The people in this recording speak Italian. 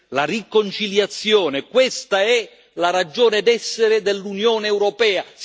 La riconciliazione questa è la ragione d'essere dell'Unione europea.